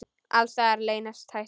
Alls staðar leynast hættur.